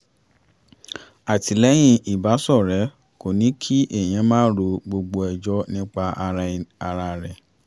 àtìlẹyìn ìbáṣọ̀rẹ́ kò ní kí èèyàn máa ro gbogbo ẹjọ́ nípa ara rẹ̀